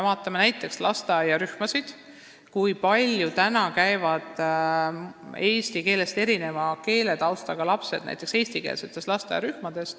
Vaatame näiteks lasteaiarühmasid, kui palju käivad eesti keelest erineva keeletaustaga lapsed täna eestikeelses lasteaiarühmas.